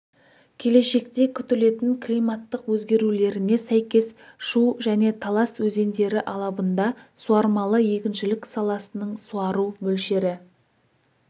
келешекте күтілетін климаттық өзгерулеріне сәйкес шу және талас өзендері алабында суармалы егіншілік саласының суару мөлшері